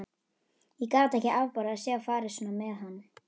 Ég gat ekki afborið að sjá farið svona með hann.